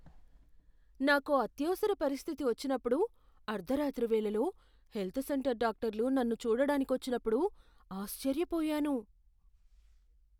నాకో అత్యవసర పరిస్థితి వచ్చినప్పుడు అర్ధరాత్రి వేళలో హెల్త్ సెంటర్ డాక్టర్లు నన్ను చూడడానికొచ్చినప్పుడు ఆశ్చర్యపోయాను.